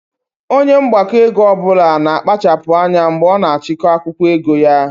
Onye mgbakọego ọbụla na kpachapu anya mgbe ọ na achiko akwụkwọ ego ya